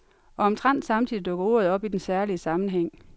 Og omtrent samtidig dukker ordet op i den særlige sammenhæng.